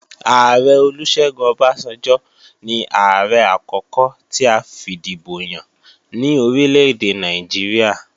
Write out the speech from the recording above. Ààrẹ Olúṣẹ́gun Ọbásanjọ́ ní Ààrẹ àkókò ti a fìdìbò yàn ní orílèdè Nàìjíríà